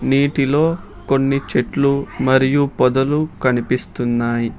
నీటిలో కొన్ని చెట్లు మరియు పొదలు కనిపిస్తున్నాయి.